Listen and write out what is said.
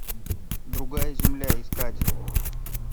другая земля искать